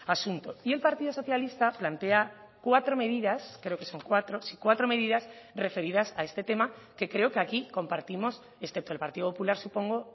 asunto y el partido socialista plantea cuatro medidas creo que son cuatro sí cuatro medidas referidas a este tema que creo que aquí compartimos excepto el partido popular supongo